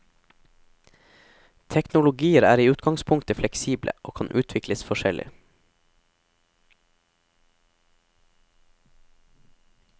Teknologier er i utgangspunktet fleksible, og kan utvikles forskjellig.